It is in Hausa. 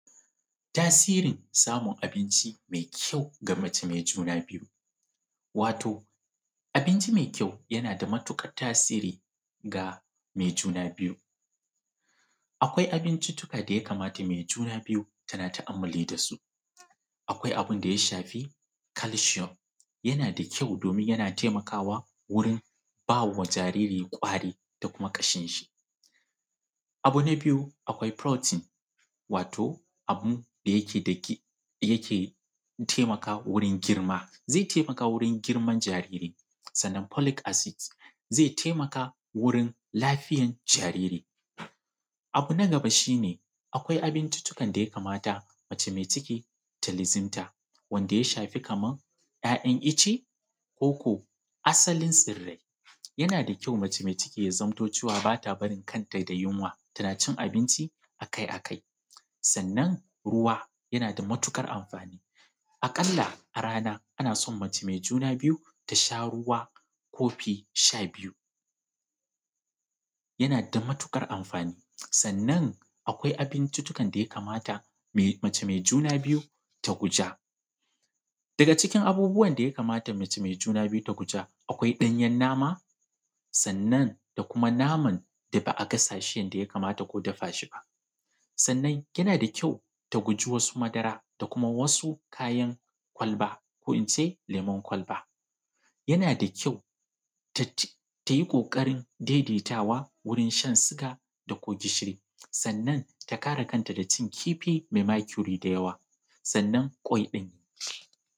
Tasirin samun abinci mai kyau ga mace mai juna biyu wato abinci mai kyau yana da matuƙar tasiri ga mace mai juna biyu akwai abinciccika da mace mai juna biyu tana ta’ammulu da su akwai abun da ya shafi kalshiyom yana da kyau kuma yana taimakawa wajen ba wa jariri kwari da kuma kashin shi, abu na biyu akwai protin wato abun da yake taimakawa wajen girma ze taimaka wurin girman jariri, sannan folik asid ze taimaka wurin lafiyar jariri. Abu na gaba shi ne akwai abincina da ya kamata mace mai ciki ta luzimta wanda ya shafi kaman ‘ya’yan ice koko asalin tsirrai yana da kyau mace mai ciki ta zamanto cewa ba ta barin kanta da yunwa, tana cin abinci akai-akai sannan ruwa yana da matuƙar amfani a ƙasa, ana son mace mai ciki a rana ta sha kofi shabiyu yana da matuƙar amfani sannan akwai abinciccikan da ya kamata mace mai juna biyu ta guja daga cikin abubuwan da mace mai juna biyu ta guja akwai ɗanyen nama, sannan da kuma da naman da ba a gasa ko a dafa shi yanda ya kamata ba, sannan yana da kyau ta guji wasu madara da kuma wasu kayan kwalba ko in ce lemun kwalba, yana da kyau ta yi ƙoƙarin daidaitawa wurin shan suga da kuma gishiri sannan ta kare kanta daga cin kifi mai makuri da yawa sannan kwai.